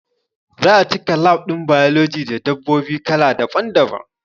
Za'a cika lab ɗin biology da dabbobi kala daban daban